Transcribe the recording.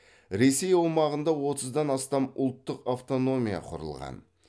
ресей аумағында отыздан астам ұлттық автономия құрылған